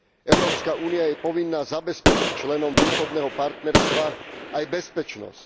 Európska únia je povinná zabezpečiť členom Východného partnerstva aj bezpečnosť.